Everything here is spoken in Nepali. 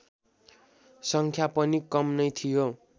सङ्ख्या पनि कम नै थियो